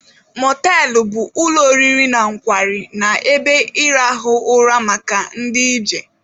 Mọtelụ bụ ụlọ oriri na nkwari na ebe ịrahụ ụra maka ndị ije.